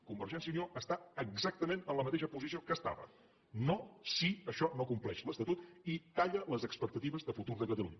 convergència i unió està exactament en la mateixa posició que estava no si això no compleix l’estatut i talla les expectatives de futur de catalunya